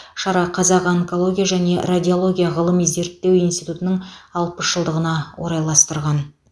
шара қазақ онкология және радиология ғылыми зерттеу институтының алпыс жылдығына орайластырған